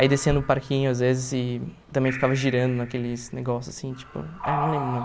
Aí descia no parquinho às vezes e também ficava girando naqueles negócios assim, tipo... É, não lembro o nome.